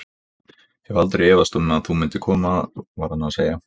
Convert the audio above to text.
Ég hef aldrei efast um þú mundir koma var hann að segja.